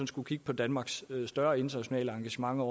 skulle kigge på danmarks større internationale engagementer